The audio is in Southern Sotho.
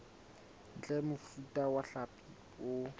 ntle mofuta wa hlapi o